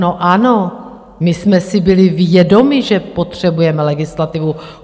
No ano, my jsme si byli vědomi, že potřebujeme legislativu.